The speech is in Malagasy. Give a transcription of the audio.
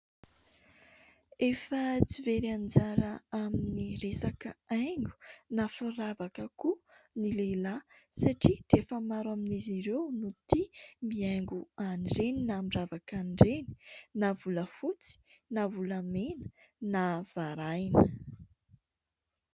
Efa tsy very anjara amin'ny resaka haingo na firavaka koa ny lehilahy satria dia efa maro amin'izy ireo no tia mihaingo an'ireny na miravaka an'ireny na volafotsy na volamena na varahina.